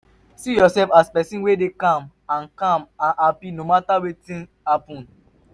see urself as pesin wey dey calm and calm and hapi no mata wetin happen